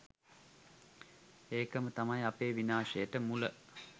ඒකම තමයි අපේ විනාශයට මුල